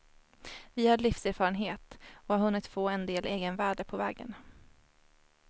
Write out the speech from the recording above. Vi har livserfarenhet, och har hunnit få en del egenvärde på vägen.